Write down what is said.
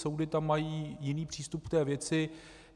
Soudy tam mají jiný přístup k té věci.